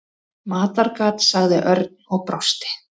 Matargat sagði Örn og brosti.